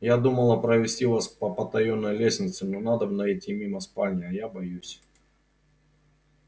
я думала провести вас по потаённой лестнице но надобно идти мимо спальни а я боюсь